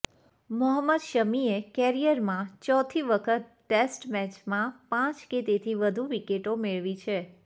મોહમ્મદ શમીએ કેરિયરમાં ચોથી વખત ટેસ્ટ મેચમાં પાંચ કે તેથી વધુ વિકેટો મેળવી છે